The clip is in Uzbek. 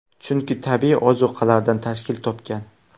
Chunki tabiiy ozuqalardan tashkil topgan.